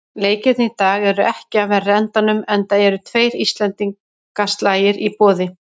Leikirnir í dag eru ekki af verri endanum, enda eru tveir íslendingaslagir í boði.